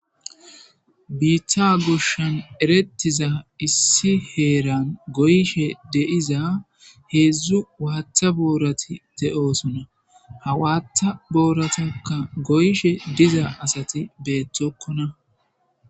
biitha goshshan eretiza issi heeran goyshe deiza heedzdzu waata boorati de7osona hawaata booratakka goyshe diza asati beettokkona